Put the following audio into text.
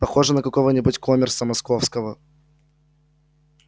похожий на какого-нибудь коммерса московского